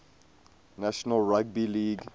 national rugby league